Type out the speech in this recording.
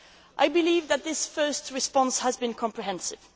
I believe that this first response has been comprehensive